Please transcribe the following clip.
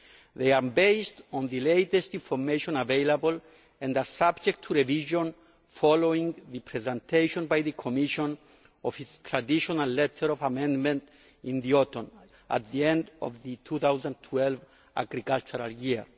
They are based on the latest information available and are subject to revision following the presentation by the Commission of its traditional letter of amendment in the autumn at the end of the 2012 agricultural year.